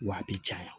Wa a bɛ caya